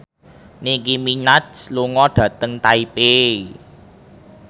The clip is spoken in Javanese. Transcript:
Nicky Minaj lunga dhateng Taipei